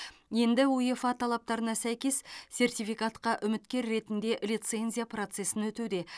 енді уефа талаптарына сәйкес сертификатқа үміткер ретінде лицензия процесін өтуде